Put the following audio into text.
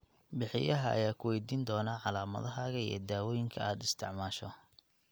Bixiyaha ayaa ku weydiin doona calaamadahaaga iyo daawooyinka aad isticmaasho.